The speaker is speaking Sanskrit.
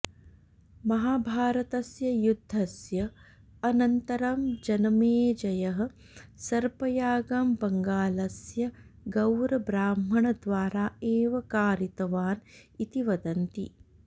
महाभारतस्य युद्धस्य अनन्तरं जनमेजयः सर्पयागं बङ्गालस्य गौर् ब्राह्मणद्वारा एव कारितवान् इति वदन्ति